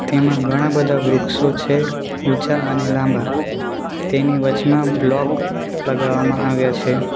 તેમાં ઘણા બધા વૃક્ષો છે ઓછા અને લાંબા તેની વચમાં બ્લોક લગાવવામાં આવ્યા છે.